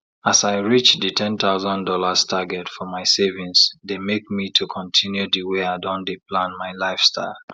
as i reach di ten thousand dollars target for my savings dey make me to continue di way i don dey plan my lifestyle